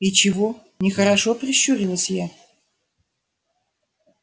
и чего нехорошо прищурилась я